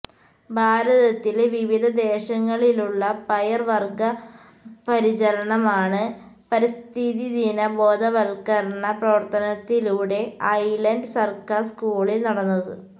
ഭാരതത്തിലെ വിവിധ ദേശങ്ങളിലുള്ള പയർ വർഗ്ഗപരിചരണമാണ് പരിസ്ഥിതിദിന ബോധവൽക്കരണ പ്രവർത്തനത്തിലൂടെ ഐലന്റ് സർക്കാർ സ്കൂളിൽ നടന്നത്